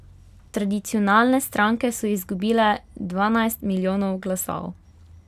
Tradicionalne stranke so izgubile dvanajst milijonov glasov.